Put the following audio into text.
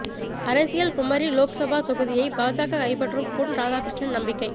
அரசியல் குமரி லோக்சபா தொகுதியை பாஜக கைப்பற்றும் பொன் ராதாகிருஷ்ணன் நம்பிக்கை